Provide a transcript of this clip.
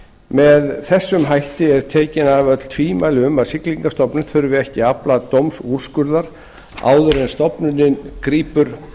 með þessum hætti eru tekin af öll tvímæli um að siglingastofnun þurfi ekki að afla dómsúrskurðar áður en stofnunin grípur